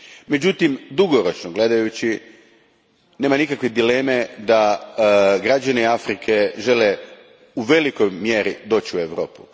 Međutim, dugoročno gledajući, nema nikakve dileme da građani Afrike žele u velikoj mjeri doći u Europu.